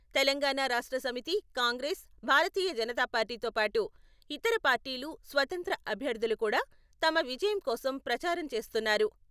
తెలంగాణ రాష్ట్రసమితి, కాంగ్రెస్, భారతీయ జనతాపార్టీతో పాటు ఇతర పార్టీలు, స్వత్రంత్య అభ్యర్థులు కూడా తమ విజయం కోసం ప్రచారం చేస్తున్నారు.